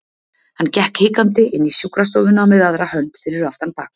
Hann gekk hikandi inn í sjúkrastofuna með aðra hönd fyrir aftan bak.